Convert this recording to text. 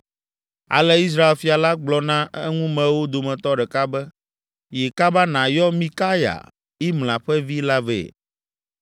Ale Israel fia la gblɔ na eŋumewo dometɔ ɖeka be, “Yi kaba nàyɔ Mikaya, Imla ƒe vi la vɛ!”